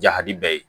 Jadi bɛɛ ye